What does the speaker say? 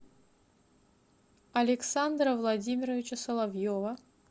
александра владимировича соловьева